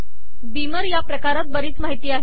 Beamer प्रकारात बरीच माहिती आहे